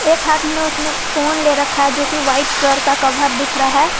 एक हाथ में उसने फोन ले रखा है जो की वाइट कलर का कवर दिख रहा है।